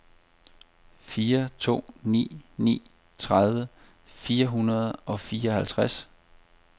fire to ni ni tredive fire hundrede og fireoghalvtreds